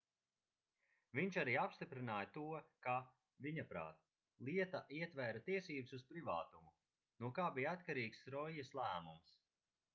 viņš arī apstiprināja to ka viņaprāt lieta ietvēra tiesības uz privātumu no kā bija atkarīgs roijas lēmums